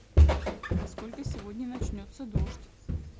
во сколько сегодня начнется дождь